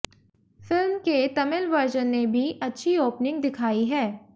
film के Tamil version ने भी अच्छी ओपनिंग दिखाई है